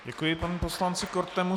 Děkuji panu poslanci Kortemu.